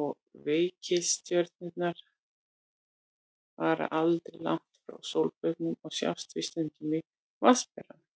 og reikistjörnurnar fara aldrei langt frá sólbaugnum og sjást því stundum í Vatnsberanum.